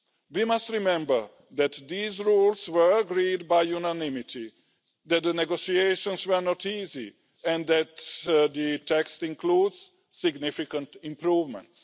We must remember that these rules were agreed by unanimity, that the negotiations were not easy and that the text includes significant improvements.